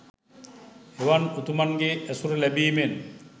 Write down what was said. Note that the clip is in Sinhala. එවන් උතුමන්ගේ ඇසුර ලැබීමෙන්